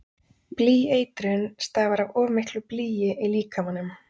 Blýeitrun stafar af of miklu blýi í líkamanum.